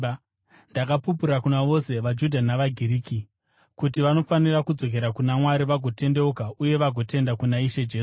Ndakapupura kuna vose vaJudha navaGiriki kuti vanofanira kudzokera kuna Mwari vagotendeuka uye vagotenda kuna Ishe Jesu.